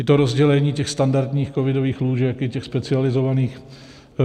I to rozdělení těch standardních covidových lůžek i těch specializovaných.